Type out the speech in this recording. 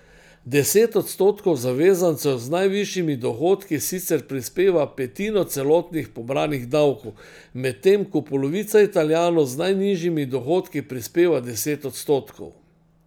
Deset odstotkov zavezancev z najvišjimi dohodki sicer prispeva petino celotnih pobranih davkov, medtem ko polovica Italijanov z najnižjimi dohodki prispeva deset odstotkov.